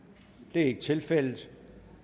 det er ikke tilfældet